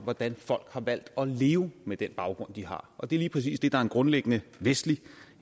hvordan folk har valgt at leve med den baggrund de har og det er lige præcis det der er en grundlæggende vestlig